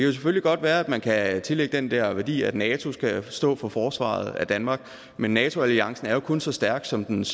jo selvfølgelig godt være at man kan tillægge det den der værdi at nato skal stå for forsvaret af danmark men nato alliancen er jo kun så stærk som dens